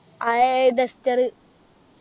uh air duster